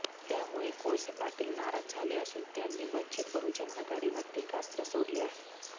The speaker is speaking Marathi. त्यामुळे कोळसे पाटील नाराज झाले असून त्यांनी वंचित बहुजन आघाडीवर टीकास्त्र सोडले आहे